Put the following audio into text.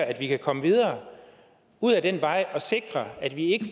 at vi kan komme videre ud ad den vej og sikre at vi ikke